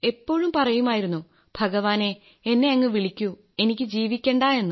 എപ്പോഴും പറയുമായിരുന്നു ഭഗവാനേ എന്നെ അങ്ങ് വിളിക്കൂ എനിക്ക് ജീവിക്കണ്ട